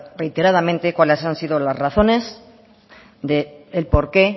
reiteradamente cuáles han sido las razones del porqué